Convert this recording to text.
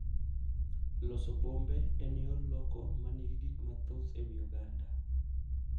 Loso bombe en yor loko ma nigi gik mathoth e wi oganda.